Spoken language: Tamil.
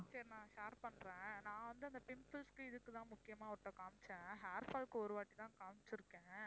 சரி நான் share பண்றேன் நான் வந்து இந்த pimples க்கு இதுக்கு தான் முக்கியமா அவர்ட்ட காமிச்சேன். hair fall க்கு ஒருவாட்டி தான் காமிச்சிருக்கேன்